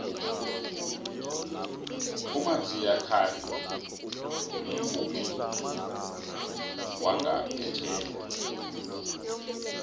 umaxia khari mvumi wangaphetjheya